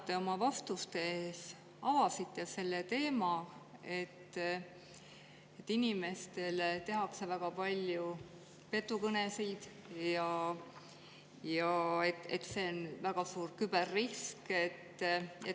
Te oma vastustes avasite selle teema, et inimestele tehakse väga palju petukõnesid ja see on väga suur küberrisk.